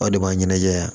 Aw de b'a ɲɛnajɛ yan